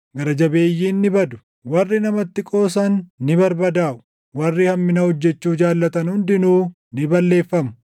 Gara jabeeyyiin ni badu; warri namatti qoosan ni barbadaaʼu; warri hammina hojjechuu jaallatan hundinuu ni balleeffamu;